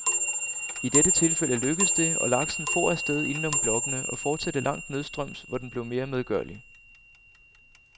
I dette tilfælde lykkedes det, og laksen for afsted inden om blokkene, og fortsatte langt nedstrøms, hvor den blev mere medgørlig.